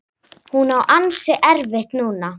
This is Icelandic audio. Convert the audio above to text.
Hún á ansi erfitt núna.